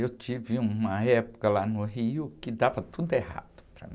Eu tive uma época lá no Rio que dava tudo errado para mim.